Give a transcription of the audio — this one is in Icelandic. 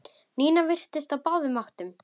Nína virtist á báðum áttum.